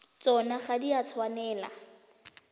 tsona ga di a tshwanela